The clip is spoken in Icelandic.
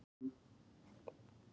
grundin góða ber